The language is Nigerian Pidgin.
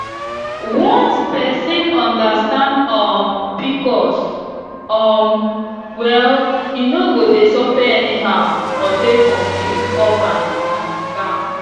once person understand um pcos um well e no go dey suffer anyhow or dey confused up and um down